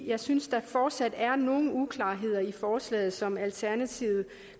jeg synes der fortsat er nogle uklarheder i forslaget som alternativet